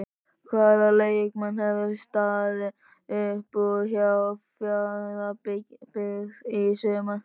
Hvaða leikmenn hafa staðið upp úr hjá Fjarðabyggð í sumar?